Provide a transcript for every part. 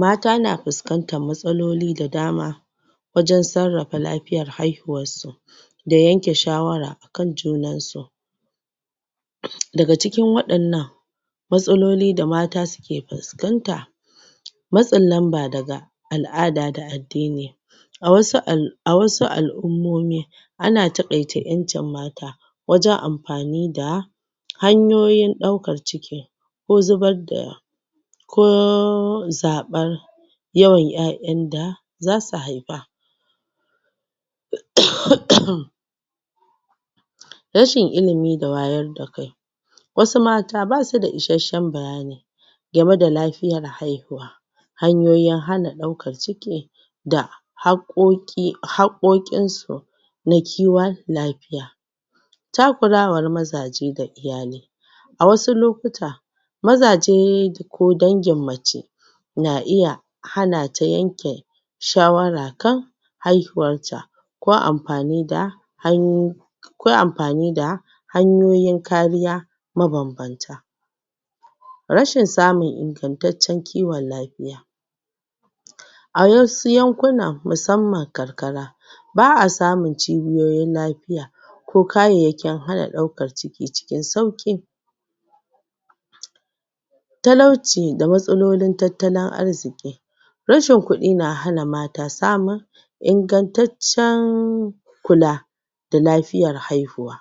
mata na fiskanta matsaloli da dama wajan sarrafa lafiyan haihuwar su da yanke shawara a kan junansu daga cikin wadannan damatsaloli da mata suke fiskanta matsin lamba daga al'ada da addini a wasu al'ummomi ana takaita 'yancin mata wajan amfani da hanyoyin daukar ciki ko zibzr da ciki ko zabar yawan yawan 'yayan da za su hai fa ahaaa ahaaa rashin ilimi da wayar da kai wasu mata basu da isashshen bayani gamai da lafiyar hai huwa hanyoyin hana daukar ciki da hakkoki hakkokinsu na kiwan lafiya takurawan mazaje ga iyali a wasu lokuta mazajee ko dangin macce na iya hanata yanke shawara kan haihuwa ko amfani da hanyoyin ko amfani da hanyoyin kariya ma babbanta rashin samun ingantaccen kiwan lafiya a wasu yankunan masamman karkara baa samun cibiyoyin lafiya ko kayayyakin hana daukar ciki cikin sauki talauci da matsalolin tattalin arziki rashin kudi na hna mata samun ingantaccennnnn kula da lafiyar haihuwa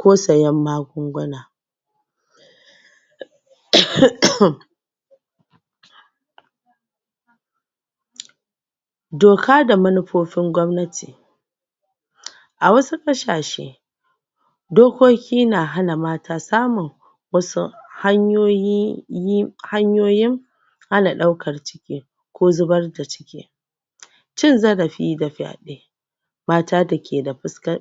ko sayan magun-guna ahaaa ahaaa doka da manufofin gwamnati a wasu kasashe dokoki na hana mata samun samun hanyoyin yin-yin daukar ciki ko zibar da ciki cin zarafi da fyedai mata da ke da,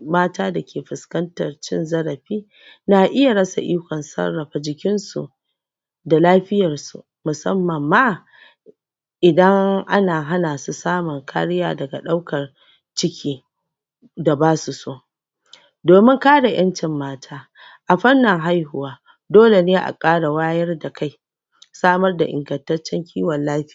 mata da ke fikantar cin zarafi na iya rasa ikon sarrafa jikinsu da lafiyansu musammam ma idan ana hana su samun kariya daga daukar ciki da basu so domin kare 'yancin mata a farnin hahuwa dole ne a kara wayar da kai samar da ingantaccen kiwon lafya